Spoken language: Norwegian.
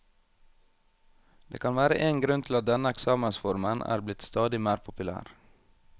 Det kan være én grunn til at denne eksamensformen er blitt stadig mer populær.